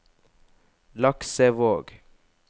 Laksevåg